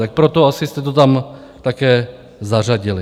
Tak proto asi jste to tam také zařadili.